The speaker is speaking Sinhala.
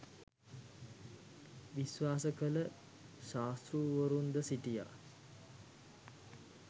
විශ්වාස කළ ශාස්තෘවරුන්ද සිටියා.